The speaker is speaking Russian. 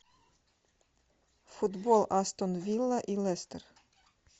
футбол астон вилла и лестер